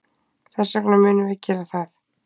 Þess vegna munum við gera það.